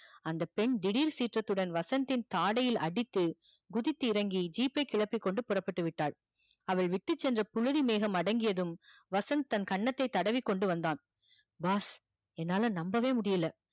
அந்த பெண் திடீர் சீற்றத்துடன் வசந்த் தின் தாடையில் அடித்து குதித்து இறங்கி jeap பை கிழப்பி கொண்டு புறப்பட்டு விட்டால் அவள் விட்டுச் சென்ற புழுதி மேகம் அடங்கியதும் வசந்த் தன் கண்னதை தடவிக் கொண்டு வந்தான் boss என்னால நம்பவே முடியல